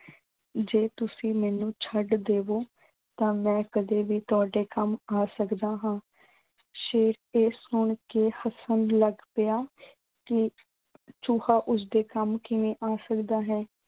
ਜੇ ਤੁਸੀਂ ਮੈਨੂੰ ਛੱਡ ਦੇਵੋਂ, ਤਾਂ ਮੈਂ ਕਦੇ ਵੀ ਤੁਹਾਡੇ ਕੰਮ ਆ ਸਕਦਾ ਹਾਂ। ਸ਼ੇਰ ਇਹ ਸੁਣ ਕੇ ਹੱਸਣ ਲੱਗ ਪਿਆ ਕਿ ਚੂਹਾ, ਉਸਦੇ ਕੰਮ ਕਿਵੇਂ ਆ ਸਕਦਾ ਹੈ।